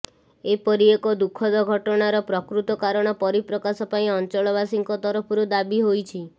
ଏପରିଏକ ଦୁଃଖଦ ଘଟଣାର ପ୍ରକୃତ କାରଣ ପରିପ୍ରକାଶ ପାଇଁ ଅଂଚଳବାସୀଙ୍କ ତରଫରୁ ଦାବି ହୋଇଛି